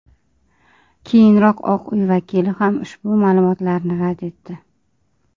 Keyinroq Oq uy vakili ham ushbu ma’lumotlarni rad etdi.